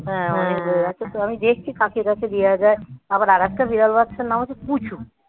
হ্যাঁ অনেক হয়ে গেছে আমি দেখছি কাকে কাকে দেওয়া যায়, আবার আরেকটা বিড়াল বাচ্চার নাম হচ্ছে পুচু।